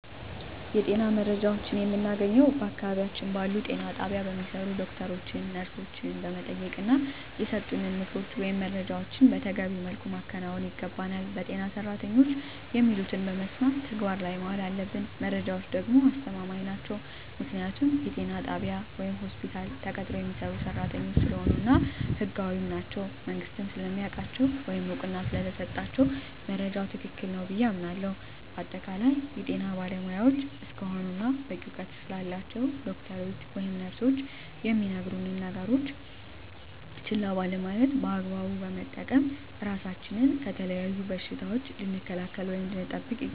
የጤና መረጃዎችን የምናገኘዉ በአቅራቢያችን ባሉ ጤና ጣቢያ በሚሰሩ ዶክተሮችን ነርሶችን በመጠየቅና የሰጡንን ምክሮች ወይም መረጃዎችን መተገቢዉ መልኩ ማከናወን ይገባናል በጤና ሰራተኖች የሚሉትን በመስማት ተግባር ላይ ማዋል አለብን መረጃዎች ደግሞ አስተማማኝ ናቸዉ ምክንያቱም ጤና ጣቢያ ወይም ሆስፒታል ተቀጥረዉ የሚሰሩ ሰራተኞች ስለሆኑ እና ህጋዊም ናቸዉ መንግስትም ስለሚያዉቃቸዉ ወይም እዉቅና ስለተሰጣቸዉ መረጃዉ ትክክል ነዉ ብየ አምናለሁ በአጠቃላይ የጤና ባለሞያዎች እስከሆኑና በቂ እዉቀት ስላላቸዉ ዶክተሮች ወይም ነርሶች የሚነግሩነን ነገሮች ችላ ባለማለት በአግባቡ በመጠቀም ራሳችንን ከተለያዩ በሽታዎች ልንከላከል ወይም ልንጠብቅ ይገባል